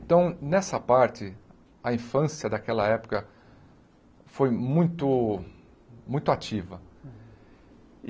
Então, nessa parte, a infância daquela época foi muito muito ativa.